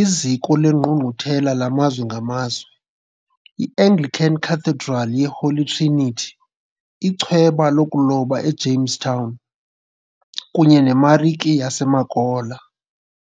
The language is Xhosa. iZiko leNgqungquthela lamazwe ngamazwe, i- Anglican Cathedral ye-Holy Trinity, ichweba lokuloba e-Jamestown kunye neMarike yaseMakola.